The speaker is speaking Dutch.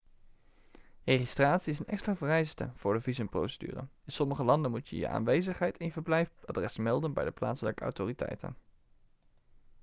registratie is een extra vereiste voor de visumprocedure in sommige landen moet je je aanwezigheid en je verblijfadres melden bij de plaatselijke autoriteiten